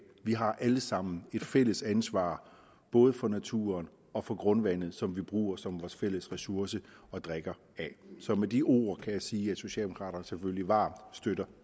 vi har alle sammen et fælles ansvar både for naturen og for grundvandet som vi bruger som vores fælles ressource og drikker af så med de ord kan jeg sige at socialdemokraterne selvfølgelig varmt støtter